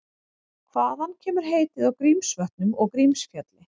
Hvaðan kemur heitið á Grímsvötnum og Grímsfjalli?